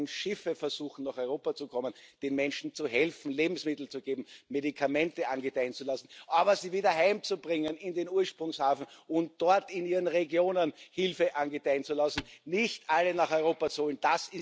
Und wenn Schiffe versuchen, nach Europa zu kommen, den Menschen zu helfen, ihnen Lebensmittel zu geben, Medikamente angedeihen zu lassen, aber sie wieder heimzubringen in den Ursprungshafen und dort in ihren Regionen Hilfe angedeihen zu lassen und nicht alle nach Europa zu holen.